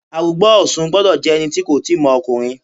Arugba Osun gbọ́dọ̀ jẹ́ ẹni tí kò tíì mọ ọkùnrin.